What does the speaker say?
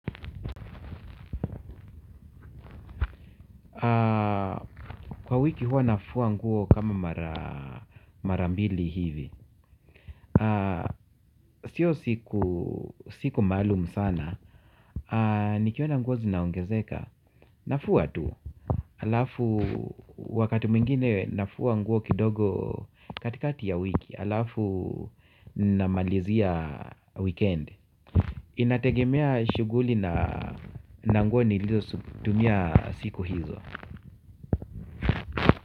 Kwa wiki huwa nafua nguo kama mara mbili hivi siyo siku maalumu sana. Nikiona nguo zinaongezeka nafua tu. Halafu wakati mwingine nafua nguo kidogo katikati ya wiki halafu namalizia wikendi. Inategemea shughuli na nguo nilizotumia siku hizo.